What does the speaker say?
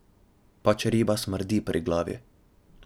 Pač, riba smrdi pri glavi.